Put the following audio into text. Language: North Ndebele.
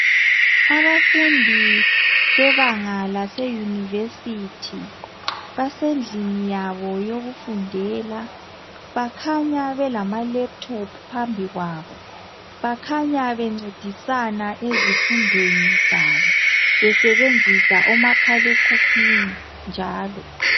Abafundi bebanga laseYunivesithi basendlini yabo yokufundela bakhanya belamalaptop phambi kwabo bakhanya bencedisana ezifundweni zabo besebenzisa umakhalekhukhwini njalo.